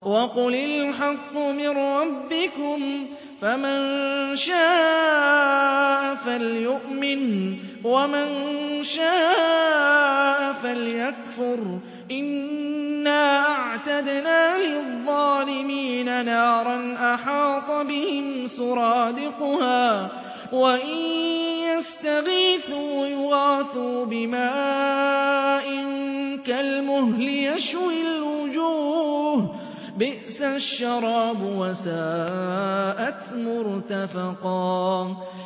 وَقُلِ الْحَقُّ مِن رَّبِّكُمْ ۖ فَمَن شَاءَ فَلْيُؤْمِن وَمَن شَاءَ فَلْيَكْفُرْ ۚ إِنَّا أَعْتَدْنَا لِلظَّالِمِينَ نَارًا أَحَاطَ بِهِمْ سُرَادِقُهَا ۚ وَإِن يَسْتَغِيثُوا يُغَاثُوا بِمَاءٍ كَالْمُهْلِ يَشْوِي الْوُجُوهَ ۚ بِئْسَ الشَّرَابُ وَسَاءَتْ مُرْتَفَقًا